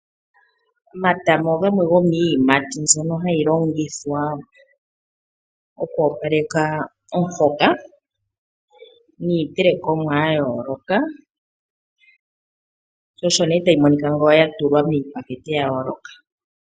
Omatama ogamwe gomiiyimati mbyono hayi longithwa okwoopaleka omuhoka niitelekomwa ya yooloka. Sho osho nee tayi monika ngele ya tulwa miipakete ya yooloka.